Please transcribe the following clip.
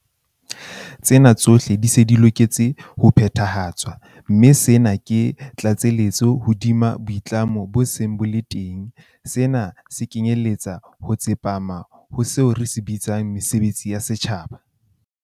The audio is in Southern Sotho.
Tsena tsohle di se di loketse ho phethahatswa, mme sena ke tlatselletso hodima boitlamo bo seng bo le teng. Sena se kenyeletsa ho tsepama ho seo re se bitsang 'mesebetsi ya setjhaba'.